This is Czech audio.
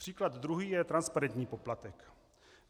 Příklad druhý je transparentní poplatek.